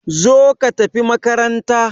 Zo ka tafi makaranta!